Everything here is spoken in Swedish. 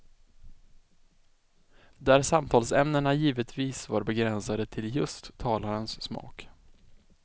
Där samtalsämnena givetvis var begränsade till just talarens smak.